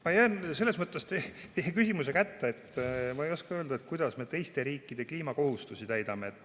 Ma jään selles mõttes teie küsimusele vastamisega hätta, et ma ei oska öelda, kuidas me teiste riikide kliimakohustusi täidame.